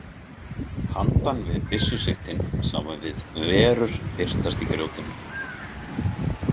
Handan við byssusigtin sáum við verur birtast í grjótinu.